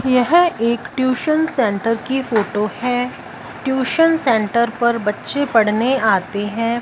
यह एक tuition centre की फोटो है ट्यूशन सेंटर पर बच्चे पढ़ने आते हैं।